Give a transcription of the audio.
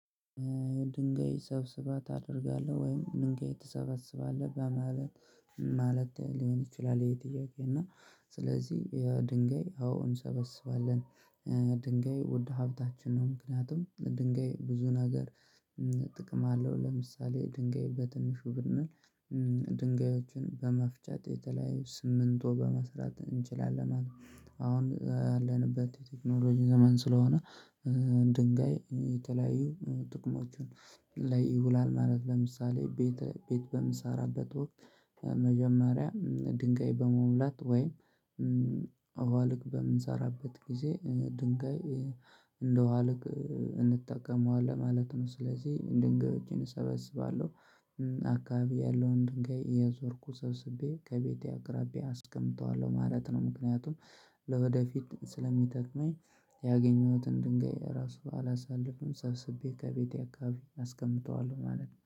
ድንጋይ ሰብስባ ታደርጋለህ ወይም ድንጋይ ትሰበስባለህ በማለት ማለት ሊሆን ይችላል ይሄ ጥያቄ እና ስለዚህ የድንጋይ አዎ እንሰበስባለን። ድንጋይ ውድ ሀብታችን ነው ምክንያቱም ድንጋይ ብዙ ነገር ጥቅም አለው። ለምሳሌ ድንጋይ በትንሹ ብንል ድንጋዮችን በመፍቻት የተለያዩ ስሚንቶ በመስራት እንችላለን። አሁን ያለንበት የቴክኖሎጂ ዘመን ስለሆነ ድንጋይ የተለያዩ ጥቅሞችን ላይ ይውላል። ማለት ለምሳሌ ቤት ቤት በምሰራበት ወቅት መጀመሪያ ድንጋይ በመሙላት ወይም አዋልክ በምንሰራበት ጊዜ ድንጋይ ውሃ ልክ እንጠቀመዋለን ማለት ነው። ስለዚህ ድንገቶችን እሰበስባለሁ አካባቢ ያለውን ድንጋይ እየዞርኩ ሰብስቤ ከቤቴ አቅራቢ አስቀምጠዋለሁ ማለት ነው። ምክንያቱም ለወደፊት ስለሚጠቅመኝ ያገኘሁትን ድንጋይ ራሱ አላሳልፍም ሰብስቤ ከቤቴ አካባቢ አስቀምጠዋለሁ ማለት ነው